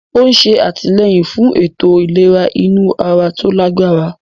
Ó ń ṣe àtìlẹ́yìn fún ètò ìlera inú ara tó lágbára.